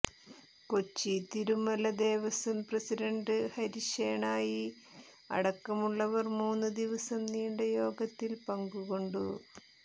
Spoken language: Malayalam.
കൊച്ചിതിരുമല ദേവസ്വം പ്രസിഡന്റ് ഹരിശേണായി അടക്കമുള്ളവർ മൂന്നു ദിവസം നീണ്ട യോഗത്തിൽ പങ്കുകൊണ്ടു